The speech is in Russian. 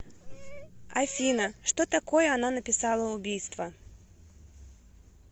афина что такое она написала убийство